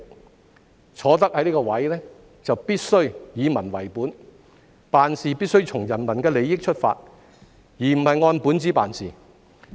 他們既然坐上這個位置，就必須以民為本，從人民的利益出發，而不是按本子辦事。